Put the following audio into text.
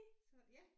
Så ja